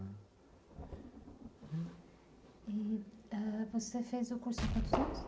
E você fez o curso anos?